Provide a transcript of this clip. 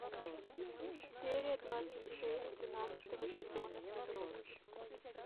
серия двадцать шесть тринадцатого сезона физрук